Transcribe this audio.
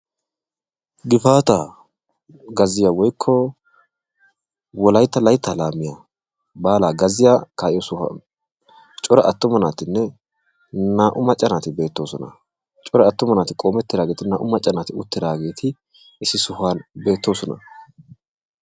Gifaata gazziya woykko Wolaytta laytta laamiya baala gazziya kaa'iyoosan cora attuma naatinne naa"u macca naati beettoosona. Cora attuma naati qoomettidaageti naa"u macca naati uttidaageeti issi sohuwan beettosona.